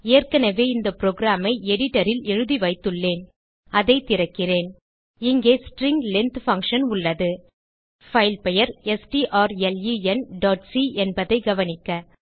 ஏற்கனவே இந்த புரோகிராம் ஐ editorல் எழுதிவைத்துள்ளேன் அதை திறக்கிறேன் இங்கே ஸ்ட்ரிங் லெங்த் பங்ஷன் உள்ளது பைல் பெயர் strlenசி என்பதைக் கவனிக்க